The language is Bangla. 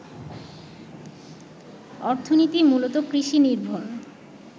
অর্থনীতি মূলত কৃষিনির্ভর